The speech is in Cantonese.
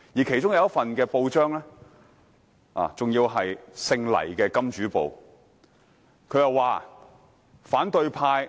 其中黎姓金主旗下的報章報道："反對派